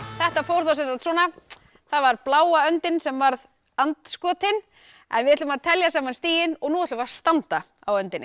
þetta fór sem sagt svona það var bláa öndin sem varð and skotinn en við ætlum að telja saman stigin og nú ætlum við að standa á öndinni